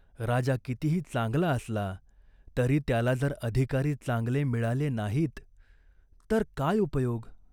राजा कितीही चांगला असला तरी त्याला जर अधिकारी चांगले मिळाले नाहीत, तर काय उपयोग?